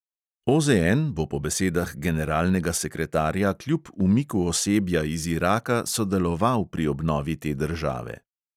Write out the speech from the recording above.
OZN bo po besedah generalnega sekretarja kljub umiku osebja iz iraka sodeloval pri obnovi te države.